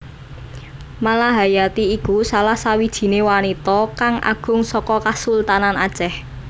Malahayati iku salah sawijiné wanita kang agung saka Kasultanan Acèh